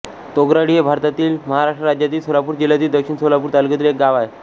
तोगराळी हे भारतातील महाराष्ट्र राज्यातील सोलापूर जिल्ह्यातील दक्षिण सोलापूर तालुक्यातील एक गाव आहे